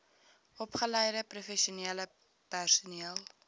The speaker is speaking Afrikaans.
opgeleide professionele personeel